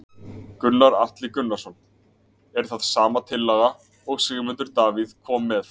Gunnar Atli Gunnarsson: Er það sama tillaga og Sigmundur Davíð kom með?